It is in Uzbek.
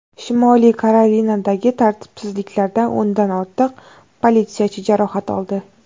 Shimoliy Karolinadagi tartibsizliklarda o‘ndan ortiq politsiyachi jarohat oldi.